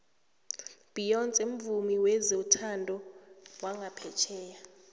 beyonce mvumi wezothando wongaphetjheya